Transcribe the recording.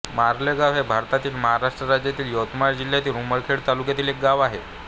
मारलेगाव हे भारतातील महाराष्ट्र राज्यातील यवतमाळ जिल्ह्यातील उमरखेड तालुक्यातील एक गाव आहे